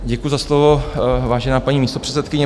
Děkuji za slovo, vážená paní místopředsedkyně.